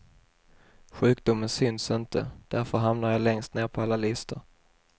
Sjukdomen syns inte, därför hamnar jag längst ned på alla listor.